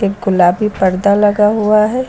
गुलाबी पर्दा लगा हुआ है।